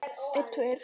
Ég verð ekki lengi